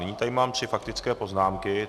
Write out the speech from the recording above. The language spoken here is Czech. Nyní tady mám tři faktické poznámky.